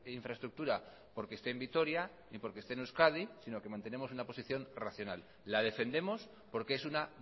infraestructura porque esté en vitoria ni porque esté en euskadi sino que mantenemos una posición racional la defendemos porque es una